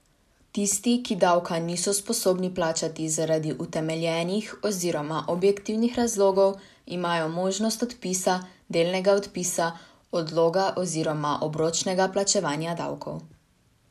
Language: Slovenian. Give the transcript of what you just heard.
Tisti, ki davka niso sposobni plačati zaradi utemeljenih oziroma objektivnih razlogov, imajo možnost odpisa, delnega odpisa, odloga oziroma obročnega plačevanja davkov.